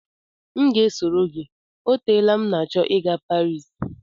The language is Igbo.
M ga-esoro gị o teela m na-achọ ị gaa Paris